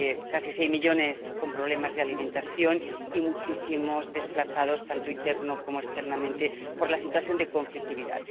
casi 6 millones tienen problemas de alimentación y hay muchísimos desplazados tanto interna como externamente por la situación de conflictividad.